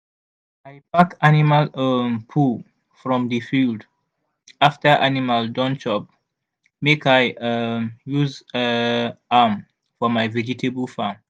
i pack animal um poo from the field after animal don chop make i um use um am for my vegetable farm